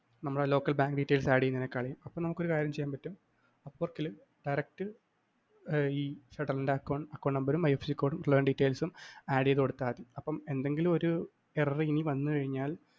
നമ്മടെ local bank details add ചെയ്യുന്നതിനെക്കാളില്‍ അപ്പൊ നമുക്ക് ഒരുകാര്യം ചെയ്യാന്‍ പറ്റും apport ല്‍ direct ഈ ഫെഡറലിന്റ account number ഉം IFSC കോഡും affluent details ഉം add ചെയ്ത് കൊടുത്താല്‍ മതി. അപ്പൊ എന്തെങ്കിലും ഒരു error ഇനി വന്നു കഴിഞ്ഞാല്‍